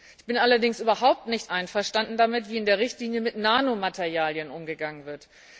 Ich bin allerdings überhaupt nicht einverstanden damit, wie in der Richtlinie mit Nanomaterialien umgegangen wird.